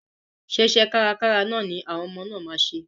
Ṣé iṣẹ́ kárkára ni àwọn ọmọ náà máa ṣe?